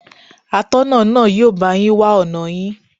Atọ́nà náà yóò bá yín wá ọ̀nà yín.